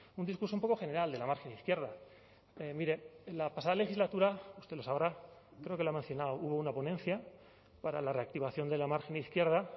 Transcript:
un discurso un poco general de la margen izquierda mire la pasada legislatura usted lo sabrá creo que lo ha mencionado hubo una ponencia para la reactivación de la margen izquierda